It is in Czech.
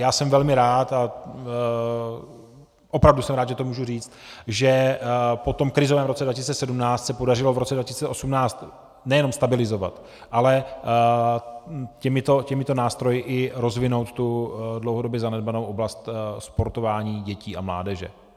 Já jsem velmi rád, opravdu jsem rád, že to můžu říct, že po tom krizovém roce 2017 se podařilo v roce 2018 nejenom stabilizovat, ale těmito nástroji i rozvinout tu dlouhodobě zanedbanou oblast sportování dětí a mládeže.